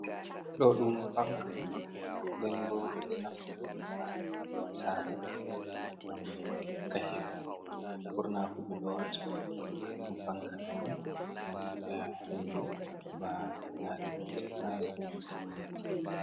Ɗo ɗum fanka on, den bo ɓe ɗo naftira ɗum ha sare gam hokka hendu ɓurna fu ɓe ɗo wata ɗum fanka dou on gam hokka hendu ladi manji nana belɗum.